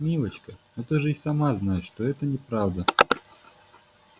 милочка но ты же и сама знаешь что это неправда